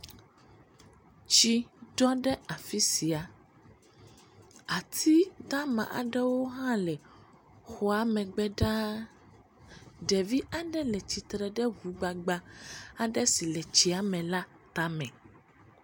Tsi ɖɔ ɖe afi sia. Ati dama aɖewo hã le xɔa megbe ɖaa. Ɖevi aɖe le tsitre ɖe ŋugbagba aɖe si le tsia me la tame.